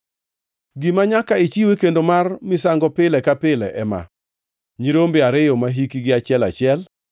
“Gima nyaka ichiw e kendo mar misango pile ka pile ema: nyirombe ariyo mahikgi achiel achiel.